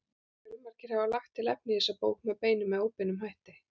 Fjölmargir hafa lagt til efni í þessa bók með beinum eða óbeinum hætti.